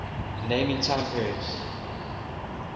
naming time periods